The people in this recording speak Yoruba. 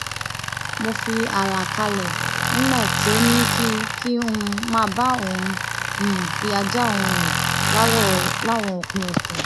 mo fi ààlà kààlẹ nígbà tó ní kí kí n máa bá òun um fi ajá òun rìn láwọn òpin òsè